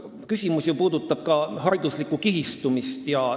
Küsimus puudutab ju ka hariduslikku kihistumist.